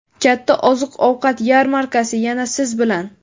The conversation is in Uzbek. Katta oziq-ovqat yarmarkasi yana siz bilan!.